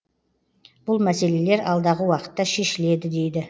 бұл мәселелер алдағы уақытта шешіледі дейді